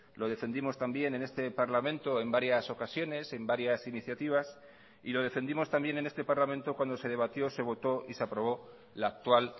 lo defendimos también en este parlamento en varias ocasiones en varias iniciativas y lo defendimos también en este parlamento cuando se debatió se votó y se aprobó la actual